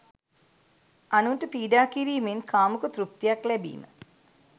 අනුන්ට පීඩා කිරීමෙන් කාමුක තෘප්තියක් ලැබීම